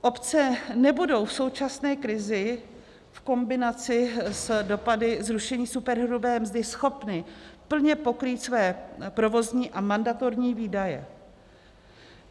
Obce nebudou v současné krizi v kombinaci s dopady zrušení superhrubé mzdy schopny plně pokrýt své provozní a mandatorní výdaje.